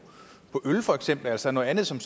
for eksempel øl altså noget andet som